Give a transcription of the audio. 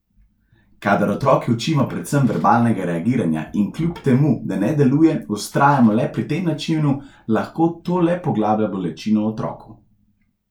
Kadar otroke učimo predvsem verbalnega reagiranja in kljub temu, da ne deluje, vztrajamo le pri tem načinu, lahko to le poglablja bolečino v otroku.